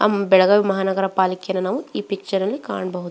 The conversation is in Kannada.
ಆಹ್ಹ್ ಬೆಳಗಾವಿ ಮಹಾನಗರ ಪಾಲಿಕೇನ ಈ ಪಿಕ್ಚರ್ ಅಲ್ಲಿ ನಾವು ಕಾಣಬಹುದು.